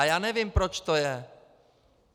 A já nevím, proč to je.